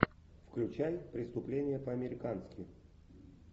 включай преступление по американски